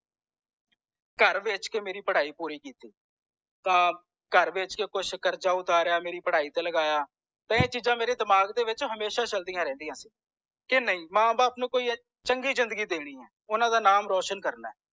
ਘਰ ਵੇਚ ਕੇ ਮੇਰੀ ਪੜ੍ਹਾਈ ਪੂਰੀ ਕੀਤੀ ਤਾਂ ਘਰ ਵੇਚ ਕੇ ਕੁਛ ਕਰਜ਼ਾ ਉਤਾਰਿਆ ਕੁਛ ਮੇਰੀ ਪੜ੍ਹਾਈ ਤੇ ਲਗਾਇਆ ਤੇ ਇਹ ਚੀਜ਼ਾਂ ਮੇਰੇ ਦਿਮਾਗ ਦੇ ਵਿਚ ਹਮੇਸ਼ਾ ਚਲਦਿਆਂ ਰਹਿੰਦੀਆਂ ਕੇ ਨਈ ਮਾਂ ਬਾਪ ਨੂੰ ਕੋਈ ਚੰਗੀ ਜ਼ਿੰਦਗੀ ਦੇਣੀ ਹੈ ਆਉਣਾ ਦਾ ਨਾਮ ਰੋਸ਼ਨ ਕਰਨਾ ਏ